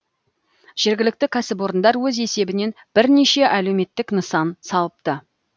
жергілікті кәсіпорындар өз есебінен бірнеше әлеуметтік нысан салыпты